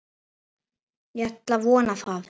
Ég ætla að vona það.